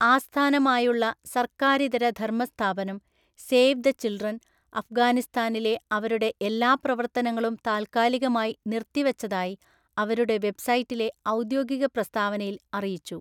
ആസ്ഥാനമായുള്ള സർക്കാരിതര ധര്‍മസ്ഥാപനം, 'സേവ് ദ ചിൽഡ്രൻ' അഫ്ഗാനിസ്ഥാനിലെ അവരുടെ എല്ലാ പ്രവർത്തനങ്ങളും താൽക്കാലികമായി നിർത്തിവച്ചതായി അവരുടെ വെബ്‌സൈറ്റിലെ ഔദ്യോഗിക പ്രസ്താവനയിൽ അറിയിച്ചു,